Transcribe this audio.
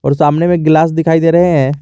सामने में ग्लास दिखाई दे रहे हैं।